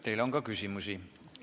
Teile on ka küsimusi.